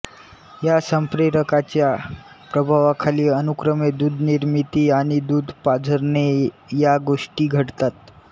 या संप्रेरकांच्या प्रभावाखाली अनुक्रमे दूधनिर्मिती आणि दूध पाझरणे या गोष्टी घडतात